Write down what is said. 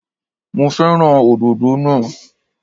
Mo fẹ́ràn òdòdó naa